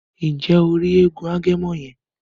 Nje o ri èègún Agẹmọ yẹn?